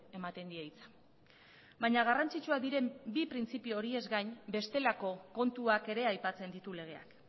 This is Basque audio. ematen die hitza baina garrantzitsuak diren bi printzipio horiez gain bestelako kontuak ere aipatzen ditu legeak